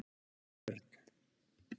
Örn